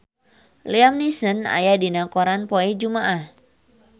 Liam Neeson aya dina koran poe Jumaah